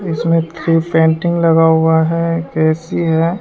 इसमें पेंटिंग लगा हुआ है ए_सी है।